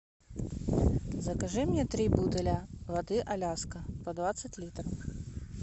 закажи мне три бутыля воды аляска по двадцать литров